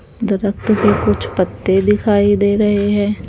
के कुछ पत्ते दिखाई दे रहे हैं।